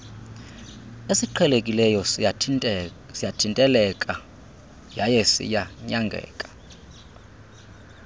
esiqhelekileyo siyathinteleka yayesiyanyangeka